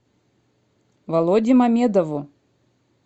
володе мамедову